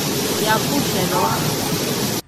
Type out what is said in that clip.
Yaa kuusheege warkas .